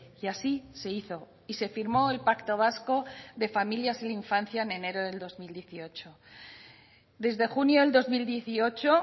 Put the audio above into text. y así se hizo y se firmó el pacto vasco de familias y la infancia en enero del dos mil dieciocho desde junio del dos mil dieciocho